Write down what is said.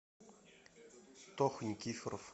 тоха никифоров